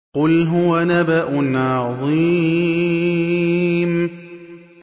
قُلْ هُوَ نَبَأٌ عَظِيمٌ